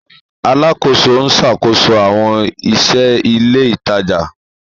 Alakoso n ṣakoso awọn iṣẹ ile itaja